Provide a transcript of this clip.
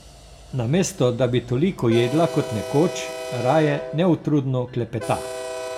Namesto da bi toliko jedla kot nekoč, raje neutrudno klepeta.